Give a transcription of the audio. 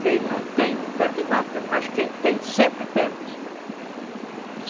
Quem não tem, não perde nada, mas quem tem, sempre perde.